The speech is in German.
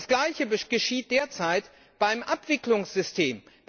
Das Gleiche geschieht derzeit beim Abwicklungssystem.